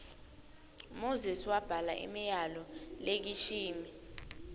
moses wabhala imiyalol lekishimi